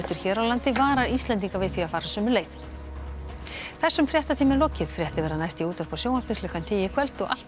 hér á landi varar Íslendinga við því að fara sömu leið þessum fréttatíma er lokið fréttir verða næst í útvarpi og sjónvarpi klukkan tíu í kvöld og alltaf